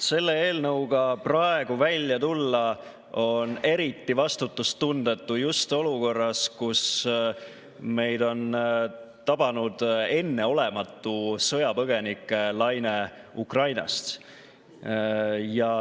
Selle eelnõuga praegu välja tulla on eriti vastutustundetu just olukorras, kus meid on tabanud enneolematu sõjapõgenikelaine Ukrainast.